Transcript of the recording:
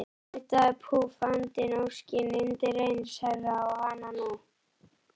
Nuddaðu, púff, andinn, óskin, undireins herra, og hananú!